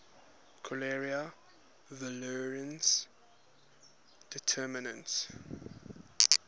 cholerae virulence determinants